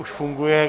Už funguje.